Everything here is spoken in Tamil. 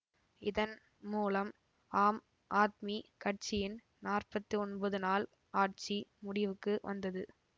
இதன் மூலம் ஆம் ஆத்மி கட்சியின் நாற்பத்தி ஒன்பது நாள் ஆட்சி முடிவுக்கு வந்தது